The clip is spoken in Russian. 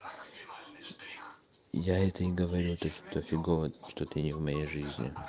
я это и говорю то что фигово что ты не в моей жизни